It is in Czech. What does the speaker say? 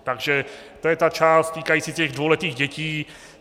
Takže to je ta část týkající se dvouletých dětí.